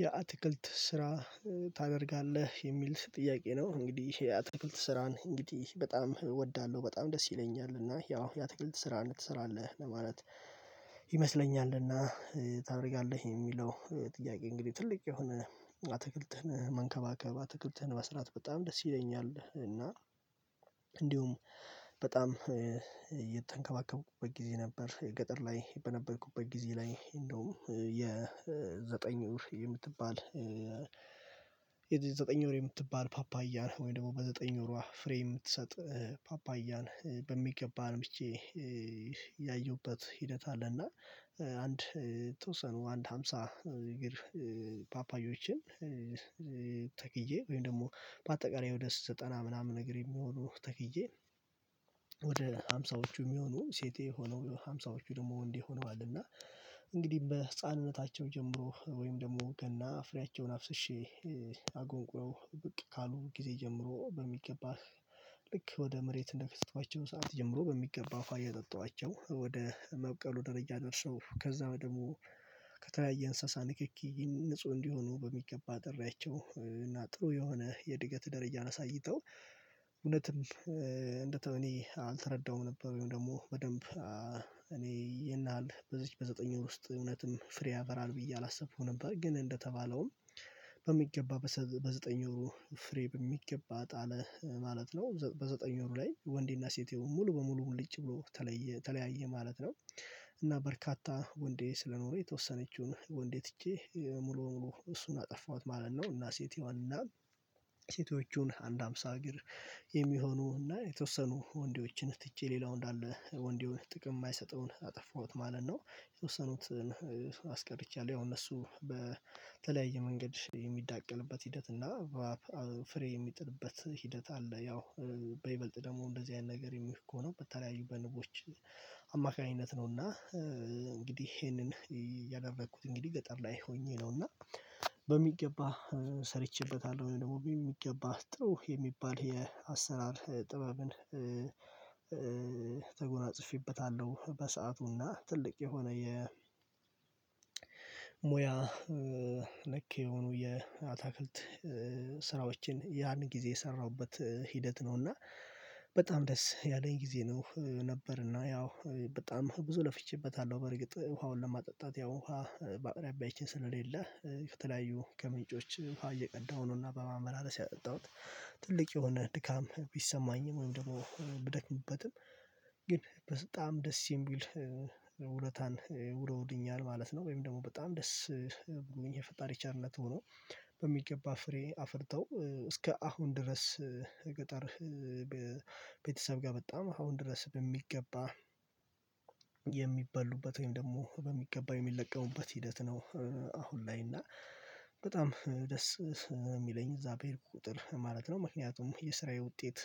የአትክልት ስራ ታደርጋለህ የሚል ጥያቄ ነው። እንግዲህ የአትክልት ስራን እንግዲህ በጣም እወዳለሁ በጣም ደስ ይለኛል እና ያው ያ ትክክል ስራ እንድትሰራ አለህ። ማለት ይመስለኛል ታደርጋለህ የሚለው ጥያቄ እንግዲህ ትልቅ የሆነ አትክልትን መንከባከብ አትክልትን መስራት በጣም ደስ ይለኛል። እና እንዲሁም በጣም እየተንከባከብኩት ጊዜ ነበር። ገጠር ላይ በነበርኩበት ጊዜ ላይ እንደውም የዘጠኝ ወር የምትባል። የዘጠኝ ወር የምትባል ፓፓያን ወይም ደግሞ በዘጠኝ ወሯ ፍሬ የምትሰጥ። ፓፓያን በሚገባ አልምቼ ያየሁበት ሂደት አለና አንድ የተወሰኑ አንድ ሃምሳ እግር ፓፓዮችን። ተክዬ ወይም ደግሞ በአጠቃላይ ወደ ዘጠና ምናምን ነገር የሚሆኑ ተክዬ ወደ ሃምሳዎቹ የሚሆኑ ሴቴ ሆነው ሃምሳዎቹ ደግሞ ወንዴ ሆነዋል። እና እንግዲህ በህፃንነታቸው ጀምሮ ወይም ደግሞ ገና ፍሬያቸውን አፍስሼ አጎንቁረው ብቅ ካሉ ጊዜ ጀምሮ በሚገባህ ልክ ወደ መሬት እንደከተቷቸው ሰዓት ጀምሮ በሚገባ ውሃ እያጠጣዋቸው ወደ መብቀሉ ደረጃ ደርሰው ከዛ ደግሞ ከተለያየ እንስሳ ንክኪ ንጹህ እንዲሆኑ በሚገባ አጥሪያቸው እና ጥሩ የሆነ የእድገት ደረጃ አሳይተው። እውነትም እንደ ቶኒ አልተረዳውም ነበር ወይም ደግሞ በደንብ እኔ ይሄን ያህል በዚች በዘጠኝ ወር ውስጥ እውነትን ፍሬ ያፈራል ብዬ አላሰብኩም ነበር። ግን እንደተባለውም በሚገባ በዘጠኝ ወሩ ፍሬ በሚገባ ጣለ ማለት ነው። በዘጠኝ ወሩ ላይ ወንዴና ሴቴው ሙሉ በሙሉ ሙልጭ ብሎ ተለየ ተለያየ ማለት ነው። እና በርካታ ወንዴ ስለኖሩ የተወሰነችውን ወንዴ ትቼ ሙሉ በሙሉ እሱን አጠፋሁት ማለት ነው። እና ሴቴዋንና ሴቶቹን አንድ አምሳ እግር የሚሆኑና የተወሰኑ ወንዴዎችን ትቼ ሌላው እንዳለ ወንዴውን ጥቅም የማይሰጠውን አጠፋሁት ማለት ነው። የተወሰኑትን አስቀርቻለሁ ያው እነሱ በተለያየ መንገድ የሚዳቀልበት ሂደት እና ፍሬ የሚጥልበት ሂደት አለ። ያው በይበልጥ ደግሞ እንደዚህ አይነት ነገር የሚል እኮ ነው በተለያዩ በንቦች አማካኝነት ነው። እና እንግዲህ ይሄንን ያደረኩት እንግዲህ ገጠር ላይ ሆኜ ነው። እና በሚገባ ሰርቼበታለሁ ወይ ደግሞ በሚገባ ጥሩ የሚባል የአሰራር ጥበብን ተጎናጽፌበታለሁ። በሰአቱና ትልቅ የሆነ የ ሙያ ልክ የሆኑ የአታክልት ስራዎችን ያን ጊዜ የሰራሁበት ሂደት ነው። እና በጣም ደስ ያለኝ ጊዜ ነው ነበርና ያው በጣም ብዙ ለፍቼበታለሁ። በርግጥ ውሃውን ለማጠጣት ያው ውሃ በአቅራቢያ ይቺን ስለሌለ ከተለያዩ ከምንጮች ውሃ እየቀዳሁ ነውና በማመላለስ ያጠጣሁት ትልቅ የሆነ ድካም ቢሰማኝም ወይም ደግሞ ብደክምበትም ግን በጣም ደስ የሚል ውለታን ውለውልኛል ማለት ነው። ወይም ደግሞ በጣም ደስ የፈጣሪ ቸርነት ሆኖ በሚገባ ፍሬ አፍርተው እስከ አሁን ድረስ ገጠር ቤተሰብ ጋር በጣም አሁን ድረስ በሚገባ የሚበሉበት ወይም ደግሞ በሚገባ የሚለቀሙበት ሂደት ነው። አሁን ላይ እና በጣም ደስ የሚለኝ እዛ በሄድኩ ቁጥር ማለት ነው ምክንያቱም የስራዬ ውጤት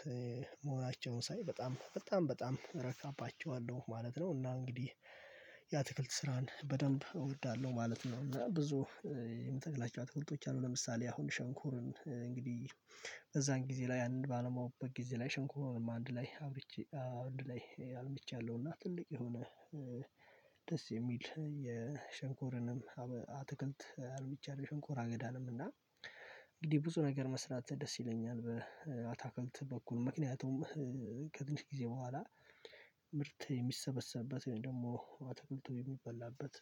መሆናቸውን ሳይ በጣም በጣም በጣም እረካባቸዋለሁ ማለት ነው። እና እንግዲህ የአትክልት ስራን በደንብ እወዳለሁ ማለት ነው። እና ብዙ የምተክላቸው አትክልቶች አሉ ለምሳሌ አሁን ሸንኮራ እንግዲህ በዛን ጊዜ ላይ ያንን ባለማውበት ጊዜ ላይ ሸንኮርንም አንድ ላይ አብርቼ አንድ ላይ አልምቻለሁና ትልቅ የሆነ ደስ የሚል የሽንኮርንም አትክልት አልምቻለሁ። ሽንኮር አገዳንም እና እንግዲህ ብዙ ነገር መስራት ደስ ይለኛል በአታክልት በኩል ምክንያቱም ከትንሽ ጊዜ በኋላ ምርት የሚሰበሰብበት ወይም ደግሞ አትክልቱ የሚበላበት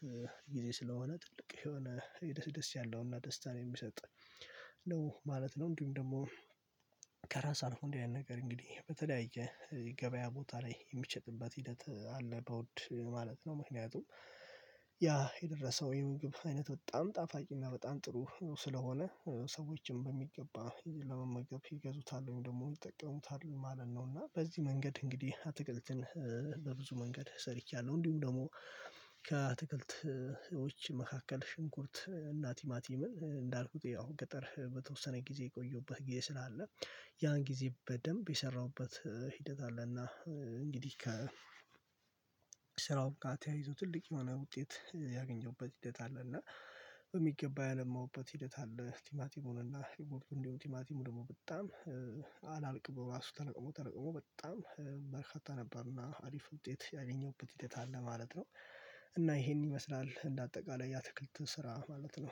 ጊዜ ስለሆነ ጥልቅ የሆነ የደስ ደስ ያለውና ደስታን የሚሰጥ ነው ማለት ነው። እንዲሁም ደግሞ ከራስ አልፎ እንዲህ ያለ ነገር እንግዲህ በተለያየ ገበያ ቦታ ላይ የሚሸጥበት ሂደት አለ። በውድ ማለት ነው ምክንያቱም ያ የደረሰው የምግብ አይነት በጣም ጣፋጭና በጣም ጥሩ ስለሆነ ሰዎችን በሚገባ ለመመገብ ይገዙታል ወይም ደግሞ ይጠቀሙታል ማለት ነው። እና በዚህ መንገድ እንግዲህ አትክልትን በብዙ መንገድ ሰርቻለሁ። እንዲሁም ደግሞ ከትክልቶች መካከል ሽንኩርት እና ቲማቲምን እንዳልኩት ያው ገጠር በተወሰነ ጊዜ የቆየሁበት ጊዜ ስላለ ያን ጊዜ በደንብ የሰራሁበት ሂደት አለና እንግዲህ ከ ስራውም ተያይዞ ትልቅ የሆነ ውጤት ያገኘሁበት ሂደት አለ። እና በሚገባ ያለማሁበት ሂደት አለ። ቲማቲሙን እና የምርቱን እንዲሁ ቲማቲሙ ደግሞ በጣም አላልቅም ራሱ ተለቅሞ ተለቅሞ በጣም በርካታ ነበርና አሪፍ ውጤት ያገኘሁበት ውጤት አለ ማለት ነው። እና ይሄን ይመስላል እንደ አጠቃላይ የአትክልት ስራ ማለት ነው